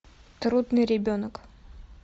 трудный ребенок